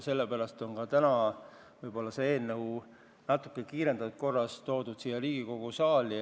Aga võib-olla on see eelnõu natuke kiirendatud korras toodud siia Riigikogu saali.